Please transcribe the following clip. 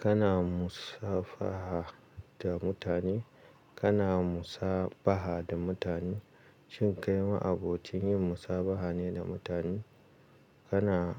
Kana musafaha da mutane? Kana musabaha da mutane? Shin kai ma abokin yin musabaha ne da mutane? Kana